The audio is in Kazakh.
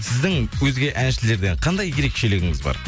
сіздің өзге әншілерден қандай ерекшелігіңіз бар